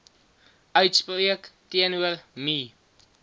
uitspreek teenoor me